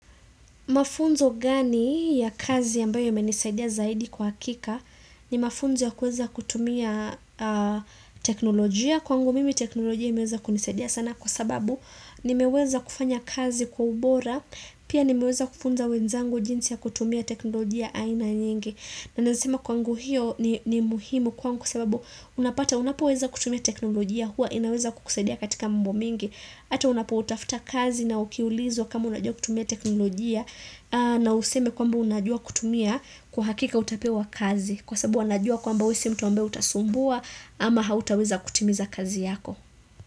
Mafunzo gani ya kazi yambayo yemenisaidia zaidi kwa hakika ni mafunzo ya kuweza kutumia teknolojia kwangu mimi teknolojia imeweza kunisaidia sana kwa sababu nimeweza kufanya kazi kwa ubora pia nimeweza kufunza wenzangu jinsi ya kutumia teknolojia aina nyingi. Na nasema kwangu hiyo ni muhimu kwangu kwa sababu unapata unapo weza kutumia teknolojia hua inaweza kukusadia katika mambo mingi Ata unapo tafuta kazi na ukiulizwa kama unajua kutumia teknolojia na useme kwamba unajua kutumia kwa hakika utapewa kazi Kwa sababu wanajua kwamba ww si mtu ambaye utasumbua ama hautaweza kutimiza kazi yako.